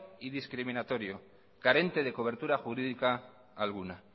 y discriminatorio carente de cobertura jurídica alguna